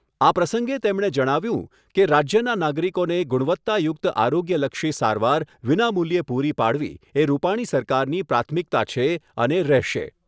આ પ્રસંગે તેમણે જણાવ્યુંં કે રાજ્યના નાગરિકોને ગુણવત્તા યુક્ત આરોગ્યલક્ષી સારવાર વિનામૂલ્યે પુરી પાડવી એ રૂપાણી સરકારની પ્રાથમિકતા છે અને રહેશે.